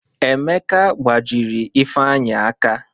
Emeka gbajiri Ifeanyị aka.